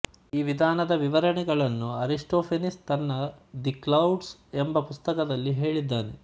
ಈ ವಿಧಾನದ ವಿವರಣೆಗಳನ್ನು ಅರಿಸ್ಟೋಫೆನೀಸ್ ತನ್ನ ದಿ ಕ್ಲೌಡ್್ಸ ಎಂಬ ಪುಸ್ತಕದಲ್ಲಿ ಹೇಳಿದ್ದಾನೆ